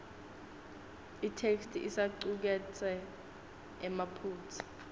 itheksthi isacuketse emaphutsa